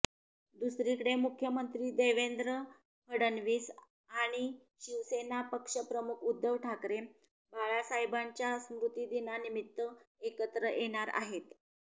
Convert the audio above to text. दुसरीकडे मुख्यमंत्री देवेंद्र फडणवीस आणि शिवसेना पक्षप्रमुख उद्धव ठाकरे बाळासाहेबांच्या स्मृतीदिनानिमित्त एकत्र येणार आहेत